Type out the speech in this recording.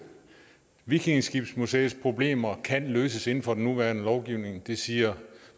vikingeskibsmuseets problemer kan løses inden for den nuværende lovgivning det siger